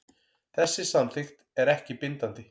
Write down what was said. Þessi samþykkt er ekki bindandi